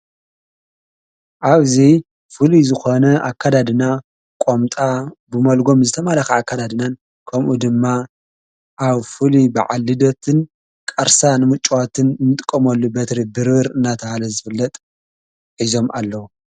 ኣብዙይ ፍል ዝኾነ ኣካዳድና ቖምጣ ብመልጎም ዝተማላኻ ኣካዳድናን ከምኡ ድማ ኣብ ፉል ብዓልደትን ቃርሳን ምጮዋትን እንጥቆመሉ በትሪ ድርር እናታሃለ ዘፍለጥ ኂዞም ኣለዉ።